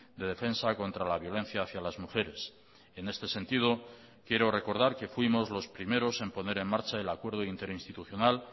de defensa contra la violencia hacía las mujeres en este sentido quiero recordar que fuimos los primeros en poner en marcha el acuerdo interinstitucional